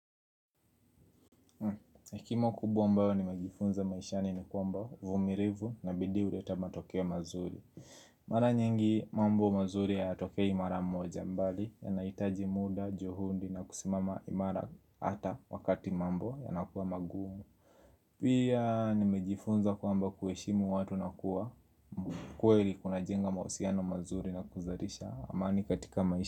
Hekima kubwa ambayo nimefunza maishani ni kwamba uvumilivu na bidii huleta matokeo mazuri Mara nyingi mambo mazuri hayatokei mara moja bali yanahitaji muda, juhudi na kusimama imara hata wakati mambo yanakuwa magumu Pia nimejifunza kwamba kuheshimu watu na kuwa kweli kunajenga mahusiano mazuri na kuzalisha amani katika maisha.